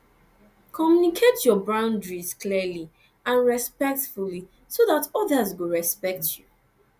communicate your boundaries clearly and respectfully so dat others go respect you